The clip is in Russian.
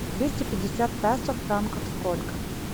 двести пятьдесят песо в франках сколько